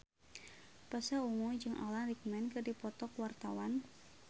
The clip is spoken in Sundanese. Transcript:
Pasha Ungu jeung Alan Rickman keur dipoto ku wartawan